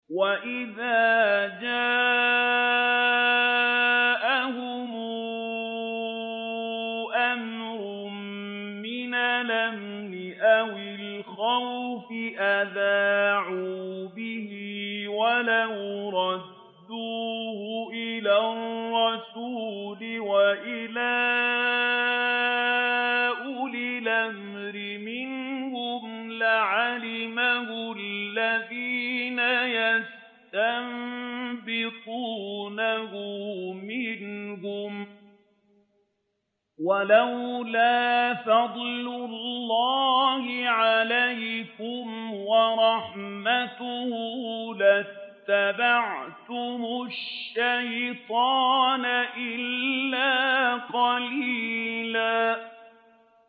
وَإِذَا جَاءَهُمْ أَمْرٌ مِّنَ الْأَمْنِ أَوِ الْخَوْفِ أَذَاعُوا بِهِ ۖ وَلَوْ رَدُّوهُ إِلَى الرَّسُولِ وَإِلَىٰ أُولِي الْأَمْرِ مِنْهُمْ لَعَلِمَهُ الَّذِينَ يَسْتَنبِطُونَهُ مِنْهُمْ ۗ وَلَوْلَا فَضْلُ اللَّهِ عَلَيْكُمْ وَرَحْمَتُهُ لَاتَّبَعْتُمُ الشَّيْطَانَ إِلَّا قَلِيلًا